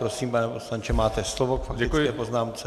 Prosím, pane poslanče, máte slovo k faktické poznámce.